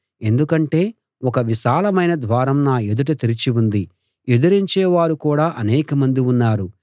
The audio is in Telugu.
ఎందుకంటే ఒక విశాలమైన ద్వారం నా ఎదుట తెరిచి ఉంది ఎదిరించే వారు కూడా అనేకమంది ఉన్నారు